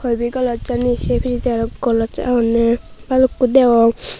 ibey glossani se pijedi aro gloss agonney balukko degong.